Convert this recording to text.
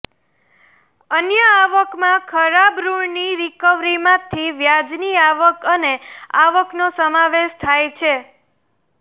અન્ય આવકમાં ખરાબ ઋણની રિકવરીમાંથી વ્યાજની આવક અને આવકનો સમાવેશ થાય છે